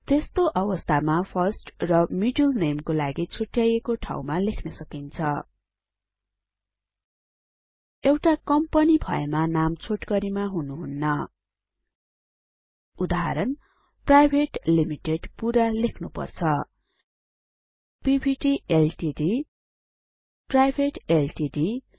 त्यस्तो अवस्थामा फर्स्ट र मिडल नामे को लागि छुट्टयाइएको ठाउँमा लेख्न सकिन्छ एउटा कम्पनी भएमा नाम छोटकरीमा हुनुहुन्न उदाहरण प्राइभेट लिमिटेड पुरा लेख्नुपर्छ पीवीटी एलटीडी प्राइभेट एलटीडी प